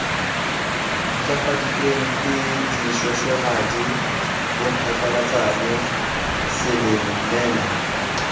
ntlafaditsweng ke dishweshwehadi bomphatlalatsane selemela